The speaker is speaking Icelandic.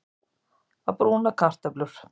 Að brúna kartöflur